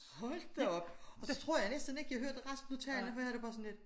Hold da op og så tror jeg næsten ikke jeg hørte resten af talen for jeg havde det bare sådan lidt